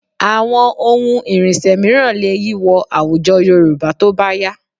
Àwọn ohun ìrìnsẹ̀ mìíràn lè yí wọ àwùjọ Yorùbá tó bá yá